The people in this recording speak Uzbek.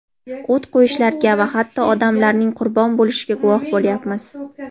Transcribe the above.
o‘t qo‘yishlarga va hatto odamlarning qurbon bo‘lishiga guvoh bo‘lyapmiz.